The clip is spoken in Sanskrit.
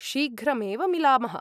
शीघ्रमेव मिलामः!